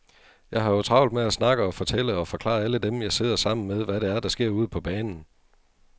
Jeg har jo travlt med at snakke og fortælle og forklare alle dem, jeg sidder sammen med, hvad det er, der sker ude på banen.